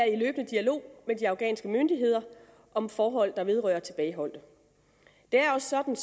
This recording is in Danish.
i løbende dialog med de afghanske myndigheder om forhold der vedrører tilbageholdte det er også sådan